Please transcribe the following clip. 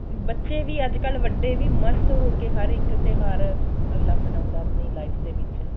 ਬੱਚੇ ਵੀ ਅੱਜਕਲ ਵੱਡੇ ਵੀ ਮਸਤ ਹੋਕੇ ਹਰ ਇੱਕ ਤਿਉਹਾਰ ਅਗਲਾ ਮਨਾਉਂਦਾ ਆਪਣੀ life ਦੇ ਵਿੱਚ